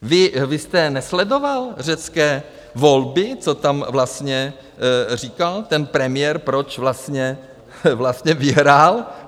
Vy jste nesledoval řecké volby, co tam vlastně říkal ten premiér, proč vlastně vyhrál?